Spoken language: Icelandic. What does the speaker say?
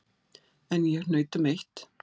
En ég hnaut um eitt.